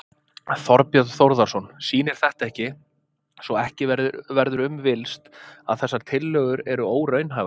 Þorbjörn Þórðarson: Sýnir þetta ekki, svo ekki verður um villst, að þessar tillögur eru óraunhæfar?